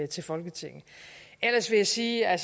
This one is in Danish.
til folketinget ellers vil jeg sige at